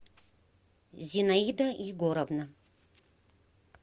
зинаида егоровна